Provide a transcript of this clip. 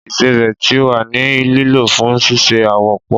Ìsẹbè ti wa ni lilo fun sise awopọ.